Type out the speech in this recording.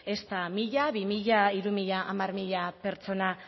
ezta mila bi mila hiru mila hamar mila pertsona